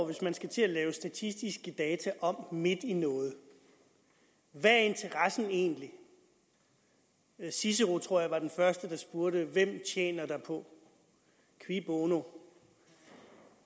hvis man skal til at lave statistiske data om midt i noget hvad er interessen egentlig cicero tror jeg var den første der spurgte hvem tjener derpå qui bono